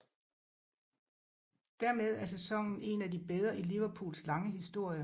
Dermed er sæsonen en af de bedre i Liverpools lange historie